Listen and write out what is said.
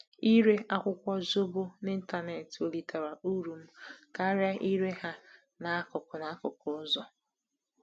Ịre akwukwo zobo n’ịntanetị welitere uru m karịa ịre ha n’akụkụ n’akụkụ ụzọ.